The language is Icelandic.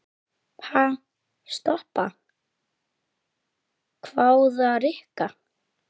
Ha, stoppa? hváði Rikka.